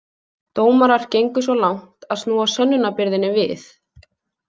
Dómarar gengu svo langt að snúa sönnunarbyrðinni við.